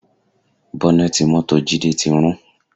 Bọ́nẹ̀tì mọ́tò Jide ti rún